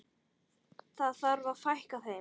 Það þarf að fækka þeim.